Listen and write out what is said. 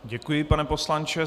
Děkuji, pane poslanče.